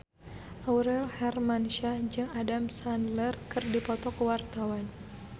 Aurel Hermansyah jeung Adam Sandler keur dipoto ku wartawan